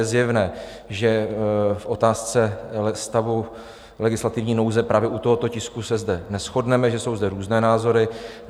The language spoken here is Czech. Je zjevné, že v otázce stavu legislativní nouze právě u tohoto tisku se zde neshodneme, že jsou zde různé názory.